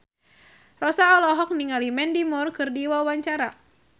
Rossa olohok ningali Mandy Moore keur diwawancara